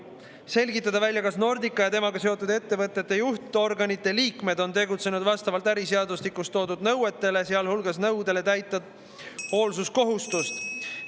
Selgitada välja, kas Nordica ja temaga seotud ettevõtete juhtorganite liikmed on tegutsenud vastavalt äriseadustikus toodud nõuetele, sealhulgas nõudele täita hoolsuskohustust.